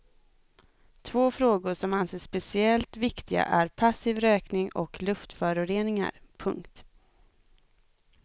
Två frågor som anses speciellt viktiga är passiv rökning och luftföroreningar. punkt